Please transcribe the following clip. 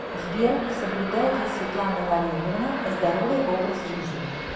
сбер соблюдает ли светлана валерьевна здоровый образ жизни